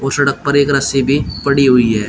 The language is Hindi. और सड़क पर एक रस्सी भी पड़ी हुई है।